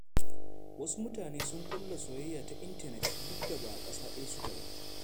Wasu mutane sun ƙulla soyayya ta intanet, duk da ba a ƙasa ɗaya suke ba.